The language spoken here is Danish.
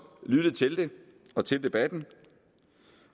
lyttet til det og til debatten